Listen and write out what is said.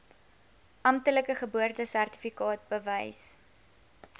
amptelike geboortesertifikaat bewys